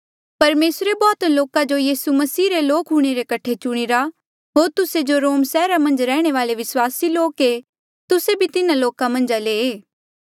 परमेसरे बौह्त लोका जो यीसू मसीह रे लोक हूंणे रे कठे चुणीरा होर तुस्से जो रोम सैहरा मन्झ रैहणे वाले विस्वासी लोक ऐें तुस्से भी तिन्हा लोका मन्झ ले